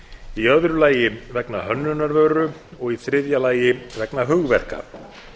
í öðru lagi vegna hönnunar vöru og í þriðja lagi vegna hugverka